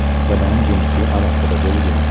bilan jinsiy aloqada bo‘lgan.